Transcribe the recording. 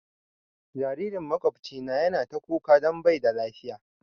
Jaririn makwabcina ya na ta kuka don bai da lafiya